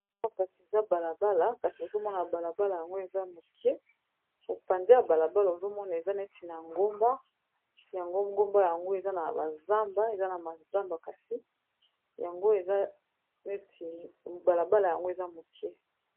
Awa kasi, eza balabala, kasi ozomona balabala yango eza moke. Mopansi ya balabala ozomona eza neti na ngomba. Yango ngomba yango, eza na bazamba eza na mazamba. Kasi yango eza neti balabala yango eza moke.